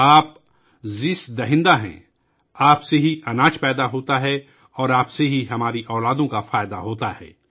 تو ہی زندگی دینے والا ہے، تجھ سے رزق پیدا ہوتا ہے اور تجھ سے ہمارے بچوں کی فلاح ہوتی ہے